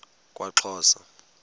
kwaxhosa